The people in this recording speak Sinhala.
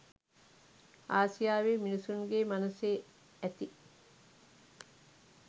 ආසියාවේ මිනිසුන්ගේ මනසේ ඇති